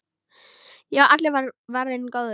Já, allur var varinn góður!